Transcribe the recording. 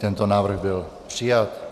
Tento návrh byl přijat.